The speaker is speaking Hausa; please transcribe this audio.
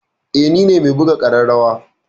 Eh nine me buga ƙararrawa.